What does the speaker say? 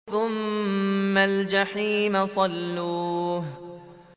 ثُمَّ الْجَحِيمَ صَلُّوهُ